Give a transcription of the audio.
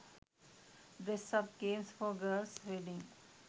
dress up games for girls wedding